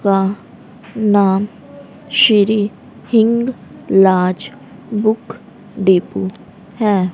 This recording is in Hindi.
का नाम Shri Hinglaj book depot है।